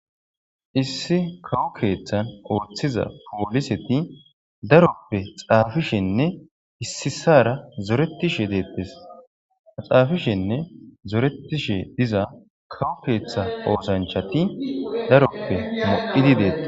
issi kawu keeththan ooththiza pooliseti daroppe xaafishenne issisara zoretishe deettes.xaafishenne zoretishe diza kawu keeththa oosanchati daroppe lo'idi deettes.